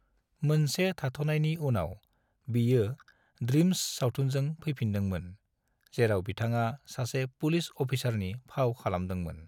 मोनसे थाथ'नायनि उनाव, बियो 'ड्रीम्स' सावथुनजों फैफिनदोंमोन, जेराव बिथाङा सासे पुलिस अफिसारनि फाव खालामदोंमोन।